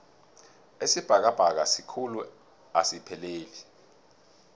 isibhakabhaka sikhulu asipheleli